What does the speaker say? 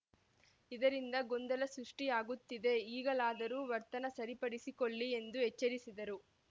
ಇದರಿಂದ ಗೊಂದಲ ಸೃಷ್ಟಿಯಾಗುತ್ತಿದೆ ಈಗಲಾದರೂ ವರ್ತನೆ ಸರಿಪಡಿಸಿಕೊಳ್ಳಿ ಎಂದು ಎಚ್ಚರಿಸಿದರು